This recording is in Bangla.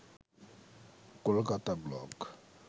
কলকাতা ব্লগ